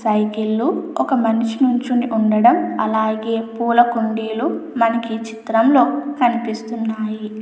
Cycle లు ఒక మనిషి నుంచుని ఉండడం అలాగే పూల కుండీలు మనకు ఈ చిత్రంలో కనిపిస్తున్నాయి.